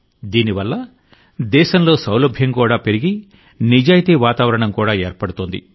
దీనివల్ల దేశంలో సౌలభ్యం కూడా పెరిగి నిజాయితీ వాతావరణం కూడా ఏర్పడుతోంది